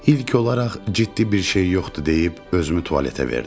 İlk olaraq ciddi bir şey yoxdur deyib özümü tualetə verdim.